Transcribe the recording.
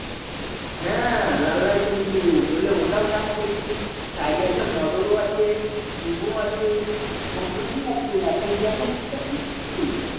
হ্যাঁ লাল লাল টমেটো ধরেলে ওটাও চাষ করেছি Side এ আছে মটর ও আছে সিম ও আছে সবধনেরই আছে রে আর তুই এখন কি কাজ করছিস তুই